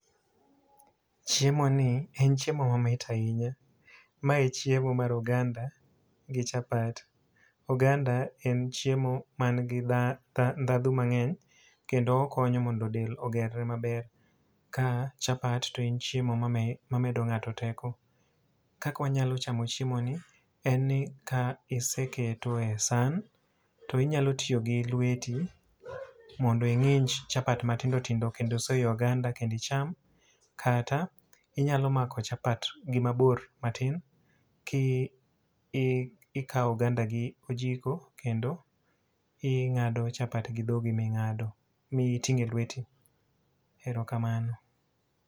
Chiemoni en chiemo mamit ahinya. Mae chiemo mar oganda gi chapat. Oganda en chiemo ma nigi ndhadhu mangény, kendo okonyo mondo dend ogerre maber. Ka chapat to en chiemo ma mamedo ngáto teko. Kaka wanyalo chamo chiemoni en ni ka iseketo e san, to inyalo tiyo gi lweti mondo ingínj chapat matindo tindo, kendo soyo ei oganda kendo icham. Kata inyalo mako chapat gi mabor matin ki i ikawo oganda gi ojiko kendo ingádo chapat gi dhogi mingádo, mi itingó e lweti. Erokamano.